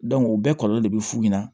o bɛɛ kɔlɔlɔ de be f'u ɲɛna